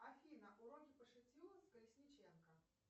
афина уроки по шитью с колесниченко